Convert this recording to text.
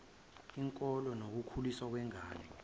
inkolo nokukhuliswa kwengane